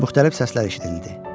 Müxtəlif səslər eşidildi.